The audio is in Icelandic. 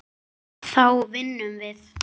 Takist það þá vinnum við.